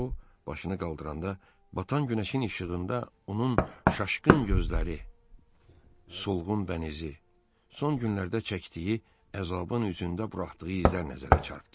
O başını qaldıranda, batan günəşin işığında onun şaşqın gözləri, solğun bənizi, son günlərdə çəkdiyi əzabın üzündə buraxdığı izlər nəzərə çarptdı.